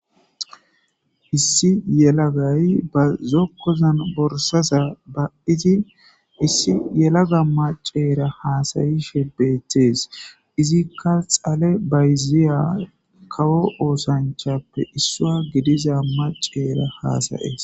issi yelagay ba zokkozan borsaza ba7iti issi yelaga maceera haasayishe beettees izikka xale bayziya kawo oosanchappe issua gidiza maceera haasayees